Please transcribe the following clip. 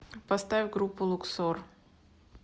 поставь группу луксор